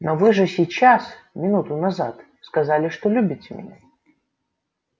но вы же сейчас минуту назад сказали что любите меня